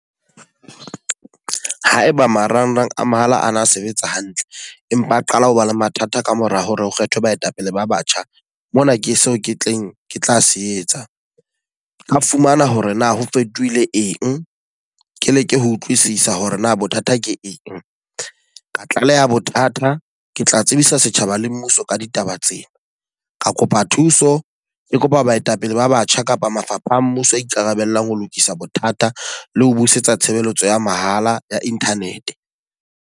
Ha e ba marangrang a mahala a na sebetsa hantle, empa a qala ho ba le mathata ka mora hore o kgethe baetapele ba batjha. Mona ke seo ke tleng ke tla se etsa, nka fumana hore na ho fetohile eng. Ke leke ho utlwisisa hore na bothata ke eng. Ka tlaleha bothata, ke tla tsebisa setjhaba le mmuso ka ditaba tsena. Ka kopa thuso, ke kopa baetapele ba batjha kapa mafapha a mmuso a ikarabellang ho lokisa bothata le ho busetsa tshebeletso ya mahala ya internet.